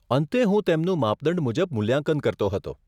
અંતે, હું તેમનું માપદંડ મુજબ મૂલ્યાંકન કરતો હતો.